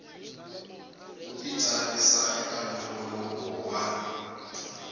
u titsarisa eka nongonoko wa